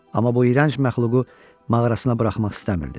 Amma bu irənc məxluğu mağarasına buraxmaq istəmirdi.